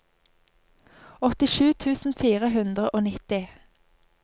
åttisju tusen fire hundre og nitti